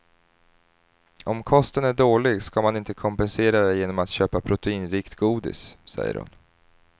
Om kosten är dålig ska man inte kompensera det genom att köpa proteinrikt godis, säger hon.